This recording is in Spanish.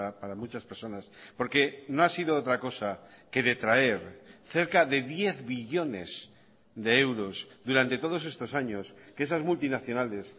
para muchas personas porque no ha sido otra cosa que detraer cerca de diez billones de euros durante todos estos años que esas multinacionales